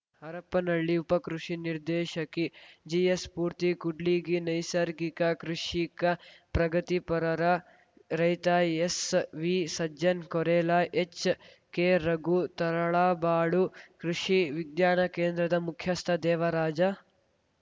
ಹರಪನಹಳ್ಳಿ ಉಪ ಕೃಷಿ ನಿರ್ದೇಶಕಿ ಜಿಎಸ್‌ಸ್ಪೂರ್ತಿ ಕೂಡ್ಲಿಗಿ ನೈಸರ್ಗಿಕ ಕೃಷಿಕ ಪ್ರಗತಿಪರರ ರೈತ ಎಸ್ವಿಸಜ್ಜನ್‌ ಕೊರಲ ಎಚ್‌ಕೆರಘು ತರಳಬಾಳು ಕೃಷಿ ವಿಜ್ಞಾನ ಕೇಂದ್ರದ ಮುಖ್ಯಸ್ಥ ದೇವರಾಜ